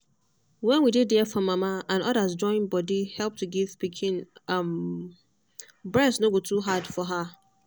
when we dey there for mama and others join body help to give pikin um breast go no too hard for her